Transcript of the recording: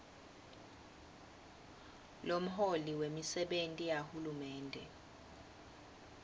lomholi wemisebenti yahulumende